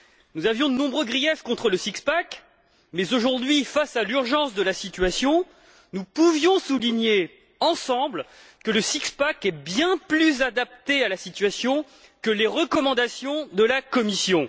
Nous avions de nombreux griefs contre le six pack mais, aujourd'hui, face à l'urgence de la situation, nous pouvions souligner ensemble que ce six pack est bien plus adapté à la situation que les recommandations de la Commission.